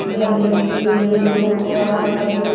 कुर्सियां भी लगी हुई है जो लोगो को आराम करने --